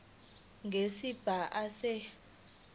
nesigaba a se